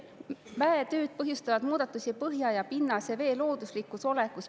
Mäetööd põhjustavad muudatusi põhja- ja pinnasevee looduslikus olekus.